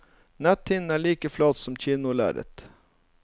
Netthinnen er like flat som et kinolerret.